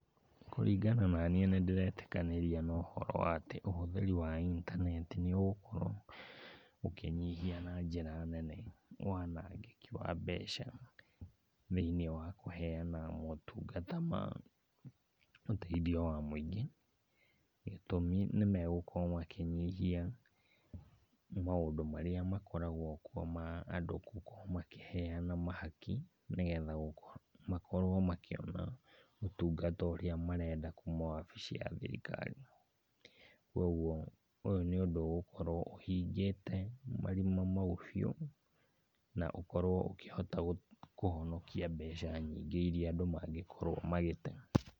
Kũringana naniĩ nĩndĩretĩkanĩria na ũhoro wa atĩ ũhũthĩri wa intaneti nĩũgũkorwo ũkĩnyihia na njĩra nene wanangĩki wa mbeca thĩiniĩ wa kũheana motungata ma ũteithio wa mũingĩ. Gĩtũmi nĩmegũkorwo makĩnyihia maũndũ marĩa makoragwo ma andũ gũkorwo makĩehana mahaki nĩgetha makorwo makĩona ũtungata ũrĩa marenda kuma wabici ya thirikari. Kuoguo ũyũ nĩ ũndũ ũgũkorwo ũhingĩte marima mau biũ, na ũkorwo ũkĩhota kũhonokia mbeca nyingĩ iria andũ mangĩkorwo magĩte.